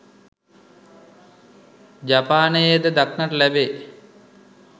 ජපානයේ ද දක්නට ලැබේ.